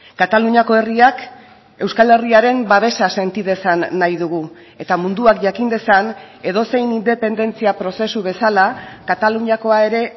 kataluniako herriak euskal herriaren babesa senti dezan nahi dugu eta munduak jakin dezan edozein independentzia prozesu bezala kataluniakoa ere